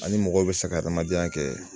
Ani mɔgɔw bɛ se ka adamadenya kɛ